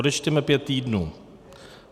Odečteme pět týdnů.